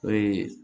Ee